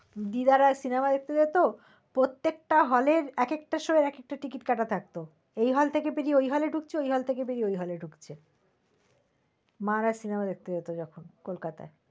দিদারা cinema দেখতে যেত, প্রত্যকটা hall এর একটা show এক একটা ticket কাটা থাকত। এই hall থেকে বেরিয়ে ওই হলে ঢুকছে, ওই hall থেকে বেরিয়ে ঐ হলে ঢুকছে। মারা hall দেখতে যেত যখন কলকাতায়